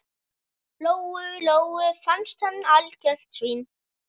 Lóu-Lóu fannst hann algjört svín.